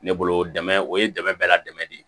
Ne bolo dɛmɛ o ye dɛmɛ bɛɛ la dɛmɛn de ye